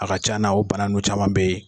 A ka ca na o bana nunnu caman be yen.